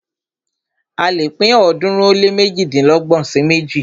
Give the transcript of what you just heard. A lè pín ọ̀ọ́dúnrún ó lé méjìdínlọ́gbọ̀n sí méjì.